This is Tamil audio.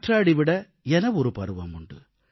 காற்றாடி விட என ஒரு பருவம் உண்டு